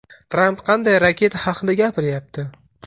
Tramp qanday raketa haqida gapiryapti?